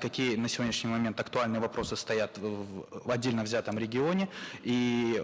какие на сегодняшний момент актуальные вопросы стоят в отдельно взятом регионе и